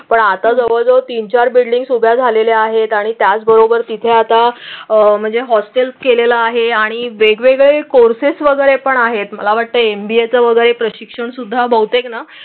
कोण आता जवळजवळ तीन चार बिल्डिंग उभ्या झालेले आहेत आणि त्याचबरोबर तिथे आता म्हणजे हॉस्टेल केलेला आहे आणि वेगवेगळे कोर्सेस वगैरे पण आहेत. मला वाटते एम बी ए च वगैरे प्रशिक्षणसुद्धा बहुतेकना.